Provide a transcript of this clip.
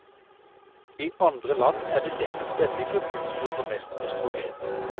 I andre land er det nettopp denne gruppen som bruker mest østrogen.